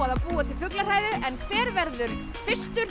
að búa til fuglahræðu en hver verður fyrstur